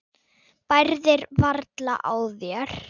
Bærðir varla á þér.